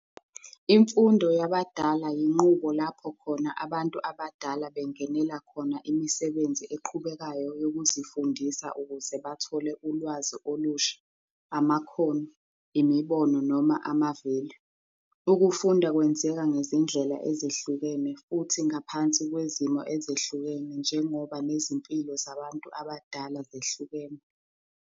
Imfundo yabadala yinqubo lapho khona abantu abadala bengenela khona imisebenzi eqhubekayo yokuzifundisa ukuze bathole ulwazi olusha, amakhono, imibono noma ama-value. Ukufunda kwenzeka ngezindlela ezehlukene futhi ngaphansi kwezimo ezehlukene njengoba nezimpilo zabantu abadala zehlukene.